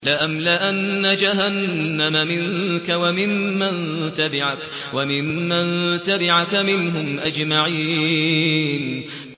لَأَمْلَأَنَّ جَهَنَّمَ مِنكَ وَمِمَّن تَبِعَكَ مِنْهُمْ أَجْمَعِينَ